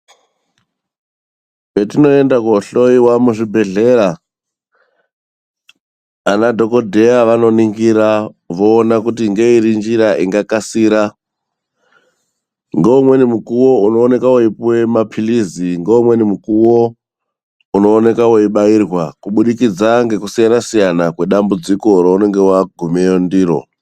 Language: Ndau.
Petinoenda koohloyiwa muzvibhedhlera, anaDhokodheya vanoningira voona kuti ngeiri njira ingakasira. Ngeumweni mukuwo unooneka weipuwe maphirizi, ngeumweni mukuwo unooneka weibairwa kuburikidza ngekusiyana-siyana kwedambudziko reunonga wagumeyo ndiro.